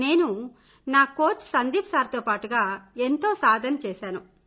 నేను నా coach Sandeep sir తో పాటుగా ఎంతో సాధన చేసాను